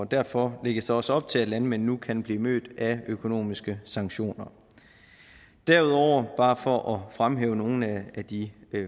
derfor lægges der også op til at landmænd nu kan blive mødt af økonomiske sanktioner derudover bare for at fremhæve nogle af de